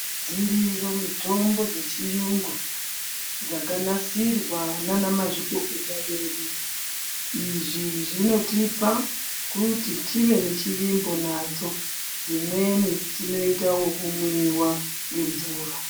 Dziriyo mitombo dzechiyungu dzakanasirwa naanamazvikokota vedu. Izvi zvinotipa kuti tive nechivimbo nadzo .Dzimweni dzinoite wekumwiwa ngemvura.